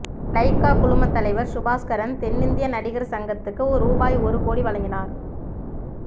Lyca குழும தலைவர் சுபாஸ்கரன் தென்னிந்திய நடிகர் சங்கத்துக்கு ரூபாய் ஒரு கோடி வழங்கினார்